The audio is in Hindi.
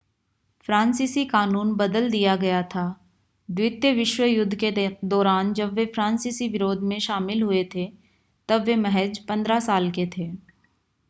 फ़्रांसीसी कानून बदल दिया गया था द्वितीय विश्व युद्ध के दौरान जब वे फ़्रांसीसी विरोध में शामिल हुए थे तब वे महज़ 15 साल के थे